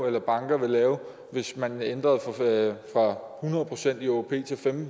eller banker vil lave hvis man ændrede fra hundrede procent i åop til femten